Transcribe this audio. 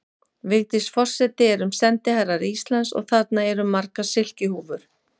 Vigdís forseti erum sendiherrar Íslands og þarna eru margar silkihúfur.